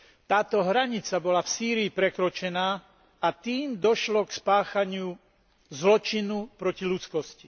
Táto hranica bola v Sýrii prekročená, a tým došlo k spáchaniu zločinu proti ľudskosti.